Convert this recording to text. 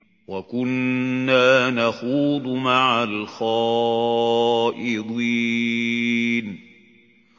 وَكُنَّا نَخُوضُ مَعَ الْخَائِضِينَ